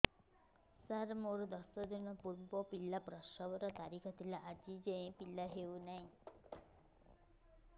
ସାର ମୋର ଦଶ ଦିନ ପୂର୍ବ ପିଲା ପ୍ରସଵ ର ତାରିଖ ଥିଲା ଆଜି ଯାଇଁ ପିଲା ହଉ ନାହିଁ